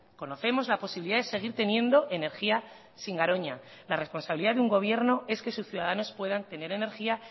conocemos la posibilidad de seguir teniendo energía sin garoña la responsabilidad de un gobierno es que sus ciudadanos puedan tener energía